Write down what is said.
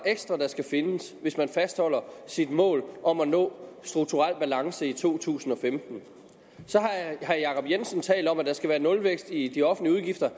ekstra der skal findes hvis man fastholder sit mål om at nå strukturel balance i to tusind og femten herre jacob jensen talt om at der skal være nulvækst i de offentlige udgifter